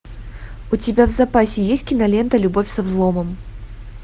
у тебя в запасе есть кинолента любовь со взломом